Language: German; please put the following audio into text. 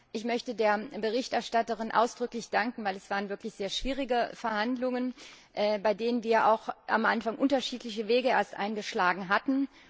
Ich möchte der Berichterstatterin ausdrücklich danken, denn es waren wirklich sehr schwierige Verhandlungen, bei denen wir auch am Anfang unterschiedliche Wege eingeschlagen hatten.